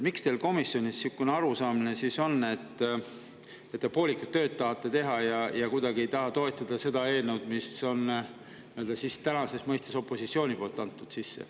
Miks teil komisjonis niisugune arusaamine on, miks te poolikut tööd tahate teha ja kuidagi ei taha toetada seda eelnõu, mille on praegune opositsioon sisse andnud?